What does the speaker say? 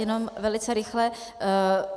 Jenom velice rychle.